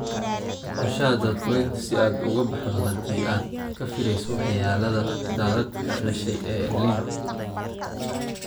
Qorshaha daadgureynta si aad uga baxdo haddii aad ka filayso waxyeellada daadad ka dhashay El Niño.